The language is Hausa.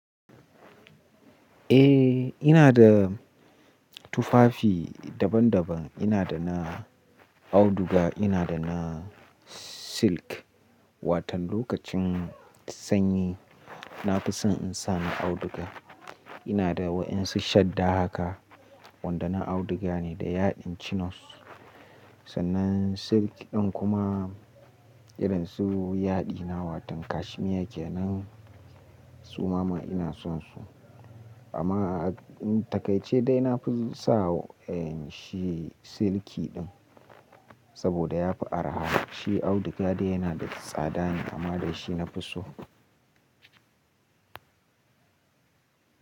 Eh, ina da tufafi daban daban. Ina da na auduga, ina da na silk. Watan lokacin sanyi, na fi son in sa na auduga. Ina da waɗansu shadda haka wanda na auduga ne da yaɗin chinos. Sannan silk ɗin kuma irin su yadina, watan kashmir ke nan, su mama ina son su. Amma takai ce da na fi sa in sa shi silki ɗin saboda ya fi araha. Shi auduga dai yana da tsadane amma dai shi nafi so.